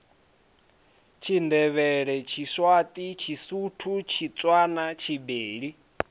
tshindevhele tshiswati tshisuthu tshitswana tshibeli